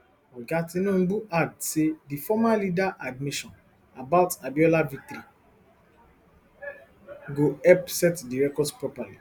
oga tinubu add say di former leader admission about abiola victory go help set di records properly